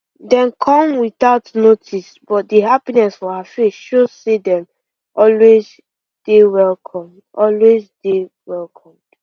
dem come without notice but di happiness for her face show say dem always dey welcomed always dey welcomed